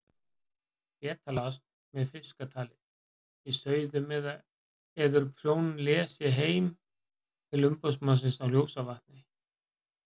Betalast með fiskatali í sauðum eður prjónlesi heim til umboðsmannsins á Ljósavatni.